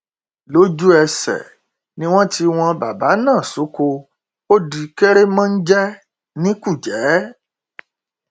lójúẹsẹ ni wọn tì wọn bàbà náà sóko ó di kèrémónjẹ ní kújẹ